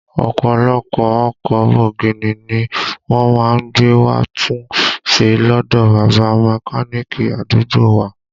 Ọ̀pọ̀lọpọ̀ ọkọ̀ bọ̀gìnì ni wọ́n má ń gbé wá tún ṣe lọdọ bàbá Mẹ́káníìkì àdúgbò wa